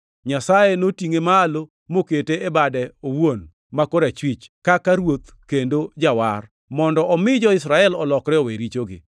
Nyasaye notingʼe malo mokete e bade owuon ma korachwich, kaka Ruoth kendo Jawar, mondo omi jo-Israel olokre owe richogi.